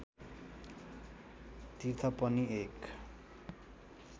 तीर्थ पनि एक